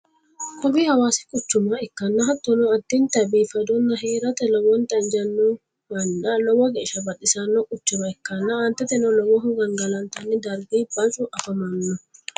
kowii hawasi quchuma ikkanna hattonni addinta biifadonna heerate lowonta injiinohonna lowo geesha baxissano quchuma ikkanna, aanteteno lowohu gangalantanni dargi baccu afamanno